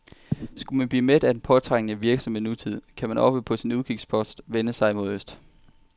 Skulle man blive mæt af den påtrængende, virksomme nutid, kan man oppe på sin udkigspost vende sig mod øst.